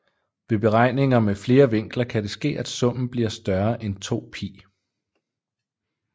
Ved beregninger med flere vinkler kan det ske at summen bliver større end 2π